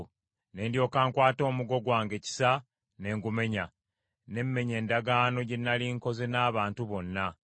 Ne ndyoka nkwata omuggo gwange Kisa ne ngumenya, ne mmenya endagaano gye nnali nkoze n’abantu bonna.